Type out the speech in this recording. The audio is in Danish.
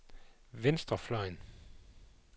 venstrefløjen